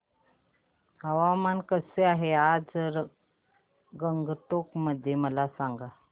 हवामान कसे आहे आज गंगटोक मध्ये मला सांगा